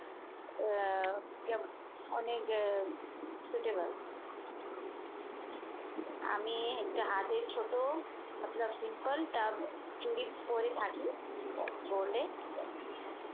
আহ ইয়ে অনেক suitable আমি হাতের অনেক ছোট মতলব simple একটা চুড়ি পড়ে থাকি gold এর।